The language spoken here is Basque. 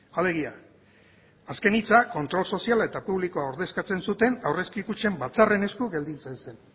alegia azken hitzak kontrol soziala eta publikoa ordezkatzen zuten aurrezki kutxen batzarren esku gelditzen zen